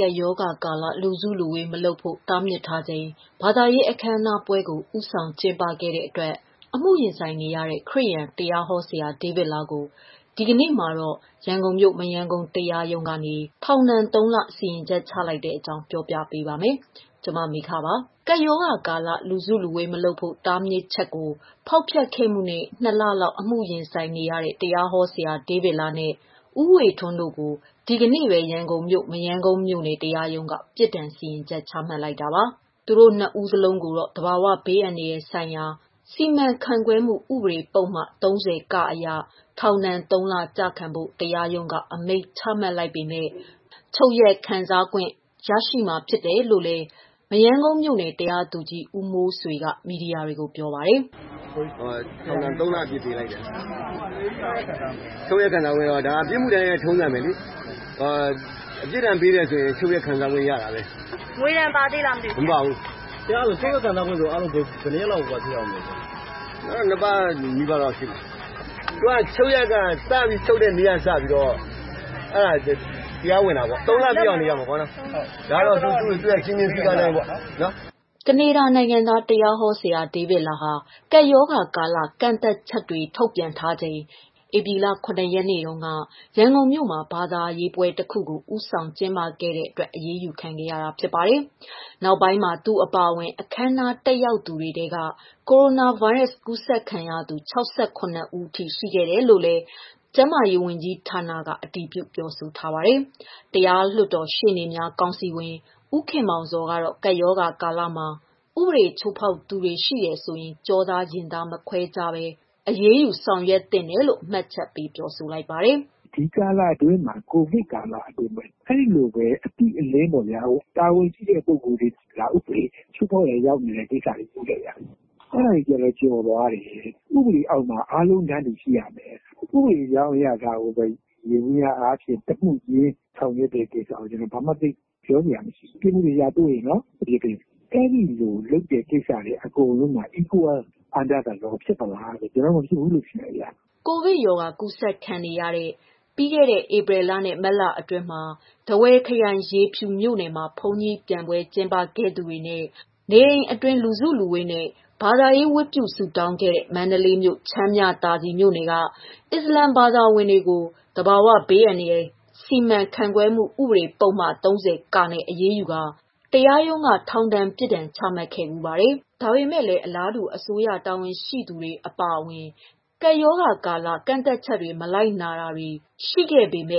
ကပ်ရောဂါကာလ လူစုလူဝေးမလုပ်ဖို့ တားမြစ်ထားချိန် ဘာသာရေးအခမ်းအနားပွဲကို ဦးဆောင်ကျင်းပခဲ့တဲ့အတွက် အမှုရင်ဆိုင်နေရတဲ့ ခရစ်ယာန်တရားဟောဆရာ ဒေးဗစ်လားကို ဒီနေ့မှာ ရန်ကုန်မြို့ မရမ်းကုန်းမြို့နယ် တရားရုံးကနေ ထောင်ဒဏ် သုံး လ စီရင်ချက် ချလိုက်တဲ့အကြောင်း ပြောပြပါမယ်။ ဗွီအိုအေမြန်မာပိုင်းသတင်းထောက် မမေခက သတင်းပေးပို့ထားပါတယ်။ ကပ်ရောဂါကာလ လူစုလူဝေးမလုပ်ဖို့ တားမြစ်ချက်ကို ဖောက်ဖျက်ခဲ့မှုနဲ့ ၂ လလောက် အမှုရင်ဆိုင်နေရတဲ့ တရားဟောဆရာ ဒေးဗစ်လားနဲ့ ဦးဝေထွန်းတို့ကို ဒီကနေ့ပဲ ရန်ကုန်မြို့ မရမ်းကုန်း မြို့နယ်တရားရုံးက ပြစ်ဒဏ်စီရင်ချက် ချမှတ်လိုက်တာပါ။ သူတို့ နှစ် ဦးစလုံးကိုတော့ သဘာဝဘေးအန္တရာယ်ဆိုင်ရာ စီမံခန့်ခွဲမှု ဥပဒေပုဒ်မ ၃၀ (က) အရ ထောင်ဒဏ် ၃ လ ကျခံဖို့ တရားရုံးက အမိန့်ချမှတ်လိုက်ပေမဲ့ ချုပ်ရက်ခွင့်စားခွင့် ရရှိမှာဖြစ်တယ်လို့လည်း မရမ်းကုန်းမြို့နယ်တရားသူကြီး ဦးမိုးဆွေက မီဒီယာတွေကို ပြောပါတယ်။ "ထောင်ဒဏ် ၃ လ ပေးလိုက်တယ်။ ချုပ်ရက်ခံစားခွင့်ကတော့ အမှုတိုင်းထုံးစံပဲလေ။ ပြစ်ဒဏ်ပေးရင်ချုပ်ရက်ခံစား ခွင့်ရှိတာပဲ။ ငွေဒဏ်မပါဘူး။ နောက်ထပ်၂ ပတ်နီးပါးနေရမယ်။ ချုပ်ရက်က ချုပ်တဲ့နေ့ကနေစပြီး တရားဝင်တာပေါ့။ ၃လ ပြည့်အောင်နေရမှာပေါ့။" ကနေဒါနိုင်ငံသား တရားဟောဆရာဒေးဗစ်လားဟာ ကပ်ရောဂါကာလ ကန့်သတ်ချုပ်တွေ ထုတ်ပြန်ထားချိန် ဧပြီလ ၇ ရက်နေ့တုန်းက ရန်ကုန်မြို့မှာ ဘာသာရေးပွဲတခုကို ဦးဆောင်ကျင်းပခဲ့တဲ့အတွက် အရေးယူခံခဲ့ရတာဖြစ်ပါတယ်။ နောက်ပိုင်းမှာ သူအပါအဝင် အခမ်းအနား တက်ရောက်သူတွေထဲက ကိုရိုနာဗိုင်းရပ်စ်ကူးစက်ခံရသူ ၆၇ ဦးထိ ရှိခဲ့တယ်လို့လည်း မြန်မာကျန်းမာရေးဝန်ကြီးဌာနက အတည်ပြုခဲ့တာပါ။ တရားလွှတ်တော် ရှေ့နေများကောင်စီဝင် ဦးခင်မောင်ဇော်ကတော့ ကပ်ရောဂါကာလမှာ ဥပဒေချိုးဖောက်သူတွေ ရှိတယ်ဆိုရင် ကျောသားရင်သား မခွဲခြားဖို့လိုတယ်လို့ မှတ်ချက်ပေးပါတယ်။ "ကိုဗစ်ကာလအတွင်းမှာ အဲလိုပဲ အတိအလင်း တာဝန်ရှိပုဂ္ဂိုလ်တွေ ဥပဒေချိုးဖောက်တာမျိုးတွေ တွေ့ခဲ့ရတယ်။ အဲဒါတွေတော့ကျော်သွားတယ်။ ဥပဒေအောက်မှာ အားလုံးတန်းတူ ရှိရမယ်။ ဥပဒေကြောင်းအရ တမှုချင်းဆီကို အပြစ် ပေးတာကိုတော့ ဘာမှပြောစရာမရှိဘူး။ အပြစ်ရှိအပြစ်ပေးခံရမှာပဲ။ အဲလိုလုပ်တဲ့ ဟာတွေမှာ ဥပဒေဟာ Equal Under The Law ဖြစ်သလား။ ကျနော်ကတော့ မဖြစ်ဘူး ထင်တယ်ဗျ။" ကိုဗစ် ရောဂါကူးစက်ခံနေရတဲ့ ပြီးခဲ့တဲ့ ဧပြီလနဲ့ မတ်လ အတွင်းမှာ ထားဝယ်ခရိုင် ရေဖြူမြို့နယ်မှာ ဘုန်းကြီးပျံပွဲ ကျင်းပခဲ့သူတွေနဲ့ နေအိမ်အတွင်း လူစုလူဝေးနဲ့ ဘာသာရေးဝတ်ပြုဆုတောင်းခဲ့တဲ့ မန္တလေးမြို့၊ ချမ်းမြသာစည် မြို့နယ်က အစ္စလာမ်ဘာသာဝင်တွေကို သဘာဝဘေးအန္တရာယ်စီမံခန့်ခွဲမှု ဥပဒေ ပုဒ်မ ၃၀ (က)နဲ့ အရေးယူကာ တရားရုံးက ထောင်ဒဏ်ပြစ်ဒဏ် ချမှတ်ခဲ့ဖူးပါတယ်။ ဒါပေမဲ့လည်း အလားတူ အစိုးရတာဝန်ရှိသူတွေ အပါအဝင် ကပ်ရောဂါကာလ ကန့်သတ်ချက်တွေကို မလိုက်နာသူတွေကို အရေးမ